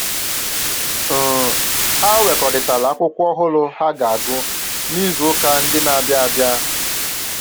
um Ha wekọrịtara akwụkwọ ọhụrụ ha ga-agụ n'izu ụka ndị na-abịa abịa